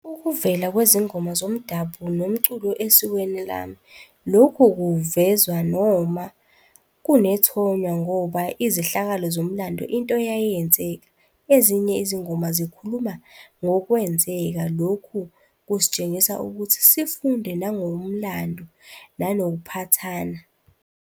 Ukuvela kwezingoma zomdabu nomculo esikweni lami. Lokhu kuvezwa noma kunethonya ngoba izehlakalo zomlando into eyayenzeka. Ezinye izingoma zikhuluma ngokwenzeka, lokhu kusitshengisa ukuthi sifunde nangomlando nanokuphathana.